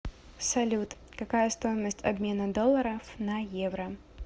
салют какая стоимость обмена долларов на евро